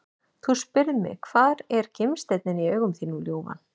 Þú spyrð mig hvar er gimsteinninn í augum þínum ljúfan?